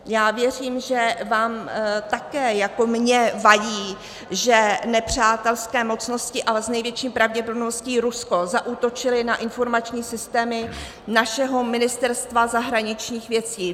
Já věřím, že vám také jako mně vadí, že nepřátelské mocnosti, ale s největší pravděpodobností Rusko, zaútočily na informační systémy našeho Ministerstva zahraničních věcí.